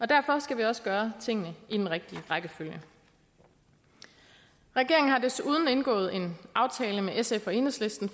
derfor skal vi også gøre tingene i den rigtige rækkefølge regeringen har desuden indgået en aftale med sf og enhedslisten